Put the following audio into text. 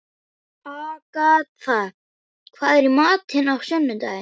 Agatha, hvað er í matinn á sunnudaginn?